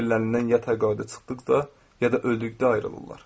İş yerlərindən ya təqaüdə çıxdıqda, ya da öldükdə ayrılırlar.